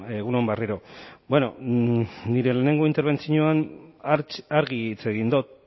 egun on berriro nire lehenengo interbentzioan argi hitz egin dut